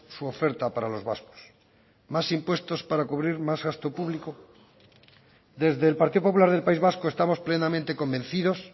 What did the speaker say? su oferta para los vascos más impuestos para cubrir más gasto público desde el partido popular del país vasco estamos plenamente convencidos